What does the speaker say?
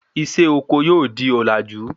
Isé oko yóò di òlàjú